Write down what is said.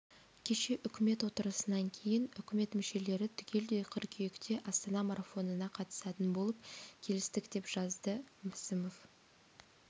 кеше үкімет отырысынан кейін үкімет мүшелері түгелдей қыркүйекте астана марафонына қатысатын болып келістік деп жазды мәсімов